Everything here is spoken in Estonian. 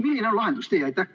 Milline on lahendustee?